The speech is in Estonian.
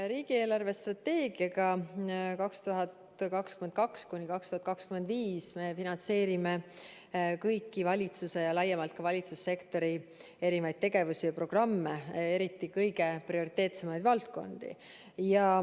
Riigi eelarvestrateegiaga 2022–2025 me finantseerime kõiki valitsuse ja laiemalt ka valitsussektori erinevaid tegevusi ja programme, eriti kõige prioriteetsemaid valdkondi.